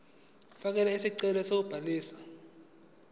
fakela isicelo sokubhaliswa